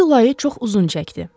İyul ayı çox uzun çəkdi.